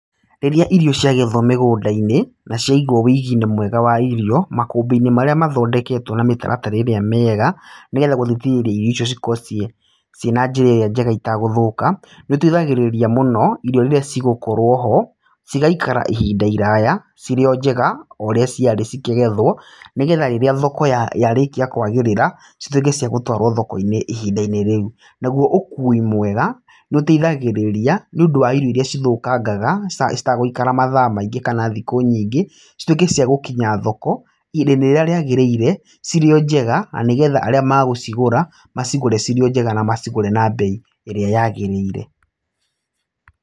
Rĩrĩa irio ciagethwo mĩgũnda-inĩ, na ciaigwo wĩigi-inĩ mwega wa irio, makũmbĩ-inĩ marĩa mathondeketwo na mĩtaratara ĩrĩa mĩega, nĩgetha gũthikĩrĩria irio icio cikorwo ciĩ ciĩna njĩra ĩrĩa njega itagũthũka, nĩ iteithagĩrĩria mũno, irio rĩrĩa cigũkorwo ho, cigaikara ihinda iraya cirĩ o njega, o ũrĩa ciarĩ cikĩgethwo, nĩgetha rĩrĩa thoko yarĩkia kwagĩrĩra, cituĩke cia gũtwarwo thoko-inĩ ihinda-inĩ rĩu. Naguo ũkui mwega, nĩ ũteithagĩrĩria, nĩ ũndũ wa irio irĩa cithũkangaga, citagũikara mathaa maingĩ kana thikũ nyingĩ, cituĩke cia gũkinya thoko, ihinda-inĩ rĩrĩa rĩagĩrĩire, cirĩ o njega. Na nĩgetha arĩa magũcigũra, macigũre cirĩ o njega na macigũre na mbei ĩrĩa yagĩrĩire.